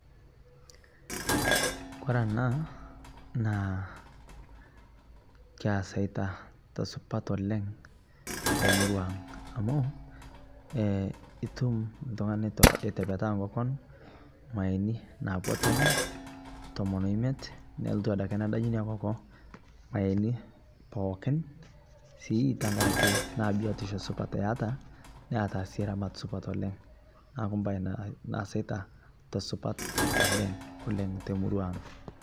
kore anaa naa kasaita tesupat oleng temurua aang amuu itum ltungana eitepetaa nkokon mayeeni napuo tomon tomon oimet nolotuu adake nadanyu inia kokoo mayeeni pookin sii tankarake naa biotishoo supat eataa sii ramat supat oleng naaku mbai naasaita tesupat oleng teurua aang